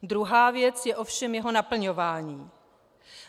Druhá věc je ovšem jeho naplňování.